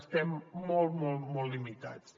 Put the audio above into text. estem molt molt molt limitats